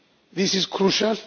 future. This is